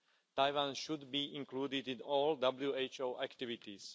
Taiwan should be included in all WHO activities.